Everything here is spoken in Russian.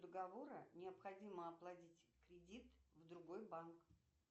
договора необходимо оплатить кредит в другой банк